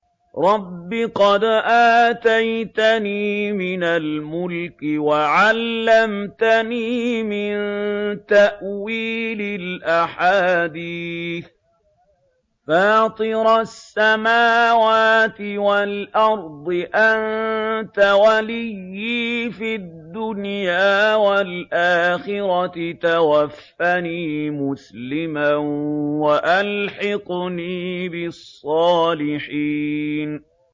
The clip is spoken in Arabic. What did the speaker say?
۞ رَبِّ قَدْ آتَيْتَنِي مِنَ الْمُلْكِ وَعَلَّمْتَنِي مِن تَأْوِيلِ الْأَحَادِيثِ ۚ فَاطِرَ السَّمَاوَاتِ وَالْأَرْضِ أَنتَ وَلِيِّي فِي الدُّنْيَا وَالْآخِرَةِ ۖ تَوَفَّنِي مُسْلِمًا وَأَلْحِقْنِي بِالصَّالِحِينَ